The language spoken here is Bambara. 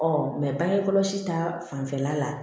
bange kɔlɔsi ta fanfɛla la